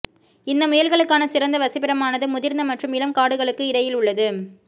இந்த முயல்களுக்கான சிறந்த வசிப்பிடமானது முதிர்ந்த மற்றும் இளம் காடுகளுக்கு இடையில் உள்ளது